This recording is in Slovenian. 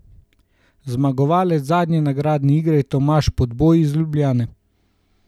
Zmagovalec zadnje nagradne igre je Tomaž Podboj iz Ljubljane.